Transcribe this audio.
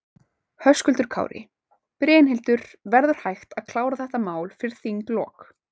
Höskuldur Kári: Brynhildur, verður hægt að klára þetta mál fyrir þinglok?